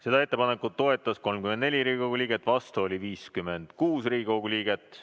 Seda ettepanekut toetas 34 Riigikogu liiget, vastu oli 56 Riigikogu liiget.